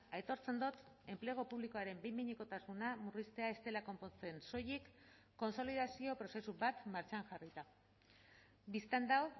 aitortzen dut enplegu publikoaren behin behinekotasuna murriztea ez dela konpontzen soilik kontsolidazio prozesu bat martxan jarrita bistan da